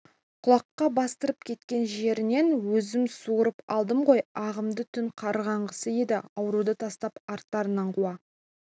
құлаққа бастырып кеткен жерінен өзім суырып алдым ғой ағамды түн қаранғысы еді ауруды тастап арттарынан қуа